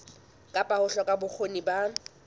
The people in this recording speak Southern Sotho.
kapa ho hloka bokgoni ba